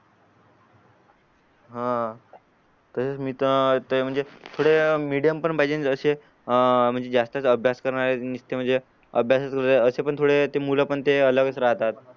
हा म्हणजे थोडं मिडीयम पण पाहिजे आणि जसे अह म्हणजे जास्तच अभयास करणारे निस्ते म्हणजे अभ्यासात वेळ असे पण थोडं ते मुलं ते अलगचा राहतात